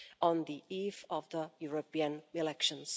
on the eve of the European elections.